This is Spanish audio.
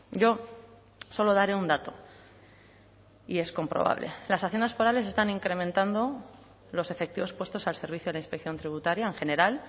yo solo daré un dato y es comprobable las haciendas forales están incrementando los efectivos puestos al servicio de la inspección tributaria en general